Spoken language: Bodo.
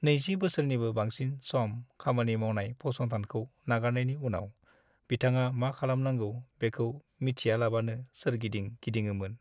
20 बोसोरनिबो बांसिन सम खामानि मावनाय फसंथानखौ नागारनायनि उनाव बिथाङा मा खालामनांगौ बेखौ मिथियालाबानो सोरगिदिं गिदिङोमोन।